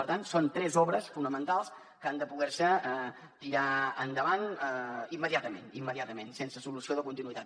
per tant són tres obres fonamentals que han de poder se tirar endavant immediatament immediatament sense solució de continuïtat